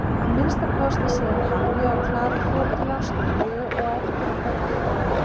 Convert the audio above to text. Að minnsta kosti síðan Halli og Klara fóru til Ástralíu og eftir að Böddi dó.